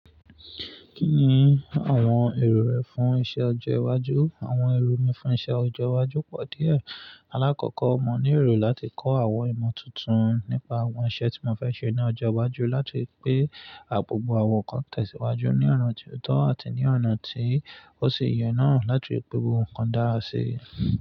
Kí ni àwọn èrò rẹ fún iṣẹ́ ọjọ́ iwájú? Àwọn èrò mi fún iṣẹ́ ọjọ́ iwájú pọ̀ díẹ̀. Alákọ̀ọ́kọ́ mo ní èrò láti kọ́ àwọn ìmọ̀ tuntun nípa àwọn iṣẹ́ tí mo fẹ́ ṣe ní ọjọ́ iwájú, láti pè àbọ̀ bo àwọn nkan tẹ̀síwájú ní ọ̀nà tí ó dá àti ní ọ̀nà tí ó sì yẹ náà láti pè gbogbo nnkan dára sí.